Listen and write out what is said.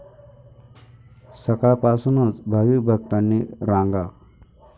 सकाळपासूनच भाविक भक्तांनी रांगा.